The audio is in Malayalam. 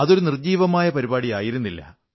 അതൊരു നിർജ്ജീവമായ പരിപാടി ആയിരുന്നില്ല